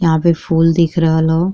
यहाँ पे फूल दिख रहल ह।